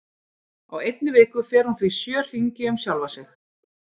Á einni viku fer hún því sjö hringi um sjálfa sig.